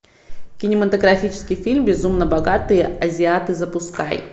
кинематографический фильм безумно богатые азиаты запускай